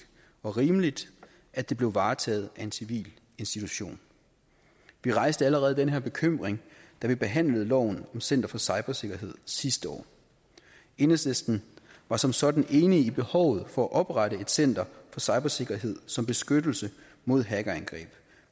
og rimeligt at det blev varetaget af en civil institution vi rejste allerede den her bekymring da vi behandlede loven om center for cybersikkerhed sidste år enhedslisten var som sådan enige i behovet for at oprette center for cybersikkerhed som beskyttelse mod hackerangreb